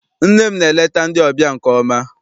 Nne m na-eleta ndị ọbịa nke ọma.